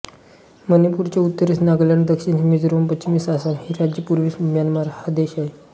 मणिपूरच्या उत्तरेस नागालॅंड दक्षिणेस मिझोराम पश्चिमेस आसाम ही राज्ये तर पूर्वेस म्यानमार हा देश आहे